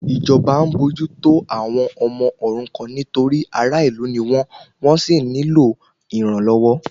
Ìjọba ń bójú tó àwọn ọmọ òrukan nítorí ará ìlú ni wọ́n, wọ́n sì nílò ìrànlọ́wọ́